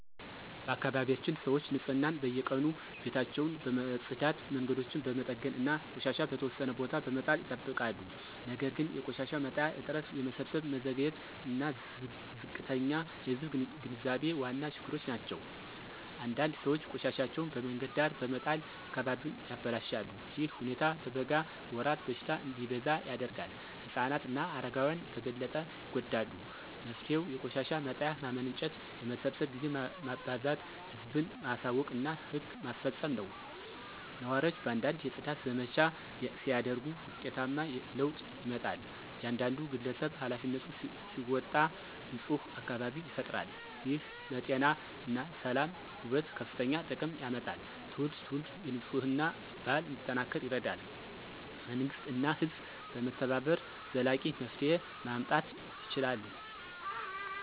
በአካባቢያችን ሰዎች ንፅህናን በየቀኑ ቤታቸውን በመጽዳት መንገዶችን በመጠገን እና ቆሻሻ በተወሰነ ቦታ በመጣል ይጠብቃሉ። ነገር ግን የቆሻሻ መጣያ እጥረት የመሰብሰብ መዘግየት እና ዝቅተኛ የህዝብ ግንዛቤ ዋና ችግሮች ናቸው። አንዳንድ ሰዎች ቆሻሻቸውን በመንገድ ዳር በመጣል አካባቢውን ያበላሻሉ። ይህ ሁኔታ በበጋ ወራት በሽታ እንዲበዛ ያደርጋል ህፃናት እና አረጋውያን በበለጠ ይጎዳሉ። መፍትሄው የቆሻሻ መጣያ ማመንጨት የመሰብሰብ ጊዜ ማበዛት ህዝብን ማሳወቅ እና ህግ ማስፈጸም ነው። ነዋሪዎች በአንድነት የጽዳት ዘመቻ ሲያደርጉ ውጤታማ ለውጥ ይመጣል። እያንዳንዱ ግለሰብ ኃላፊነቱን ሲወጣ ንፁህ አካባቢ ይፈጠራል። ይህ ለጤና ሰላም እና ውበት ከፍተኛ ጥቅም ያመጣል ትውልድ ትውልድ የንፅህና ባህል እንዲጠናከር ይረዳል። መንግሥት እና ህዝብ በመተባበር ዘላቂ መፍትሄ ማምጣት ይችላሉ።